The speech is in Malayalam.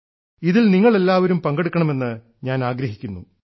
ഇതിൽ നിങ്ങൾ എല്ലാരും പങ്കെടുക്കണമെന്ന് ഞാൻ ആഗ്രഹിക്കുന്നു